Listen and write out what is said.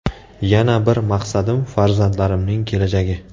Yana bir maqsadim farzandlarimning kelajagi.